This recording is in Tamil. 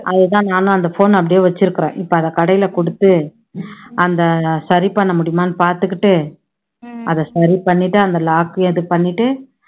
அது தான் நானும் அந்த phone அ அப்படியே வச்சுருக்குறேன் இப்போ அதை கடையில கொடுத்து அந்த சரி பண்ண முடியுமான்னு பாத்துக்கிட்டு அதை சரி பண்ணிட்டு அந்த lock ஐயும் இது பண்ணிட்டு